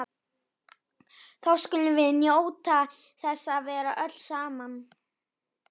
Þá skulum við njóta þess að vera öll saman.